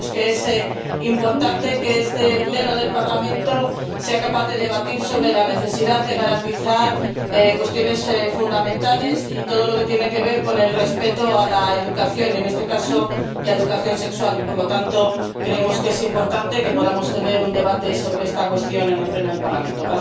Creemos que es importante que este Pleno del Parlamento sea capaz de debatir sobre la necesidad de garantizar cuestiones fundamentales y todo lo que tiene que ver con el respeto a la educación —y en este caso la educación sexual— y, por lo tanto, creemos que es importante que podamos tener un debate sobre esta cuestión en el Pleno del Parlamento.